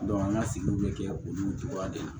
an ka sigiw bɛ kɛ olu cogoya de ye